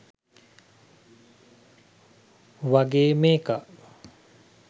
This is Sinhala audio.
වගේ මේකා